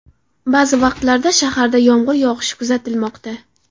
Ba’zi vaqtlarda shaharda yomg‘ir yog‘ishi kuzatilmoqda.